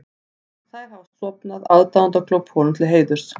Þær hafa stofnað aðdáendaklúbb honum til heiðurs.